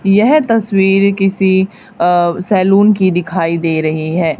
यह तस्वीर किसी अ सैलून की दिखाई दे रही है।